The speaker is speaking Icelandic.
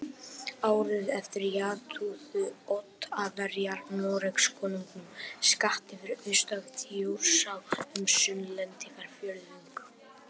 Árið eftir játuðu Oddaverjar Noregskonungum skatti fyrir austan Þjórsá um Sunnlendingafjórðung